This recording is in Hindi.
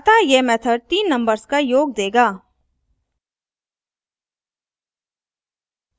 अतः यह method तीन numbers का योग देगा